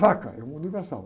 Vaca é um universal.